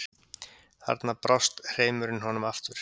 Þarna brást hreimurinn honum aftur.